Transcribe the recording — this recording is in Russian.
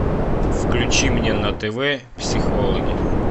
включи мне на тв психологи